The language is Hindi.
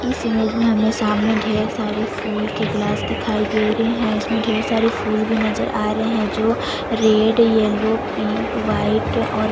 इस इमेज में हमें सामने ढेर सारी फूल के ग्लास नजर आ रहै है इसमें ढेर सारे फूल भी नजर आ रहै है जो रेड येल्लो पिंक वाइट और --